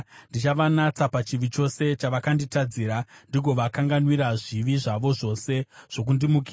Ndichavanatsa pachivi chose chavakanditadzira ndigovakanganwira zvivi zvavo zvose zvokundimukira.